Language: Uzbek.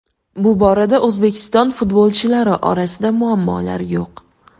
Bu borada O‘zbekiston futbolchilari orasida muammolar yo‘q.